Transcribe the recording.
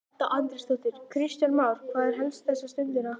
Edda Andrésdóttir: Kristján Már, hvað er helst þessa stundina?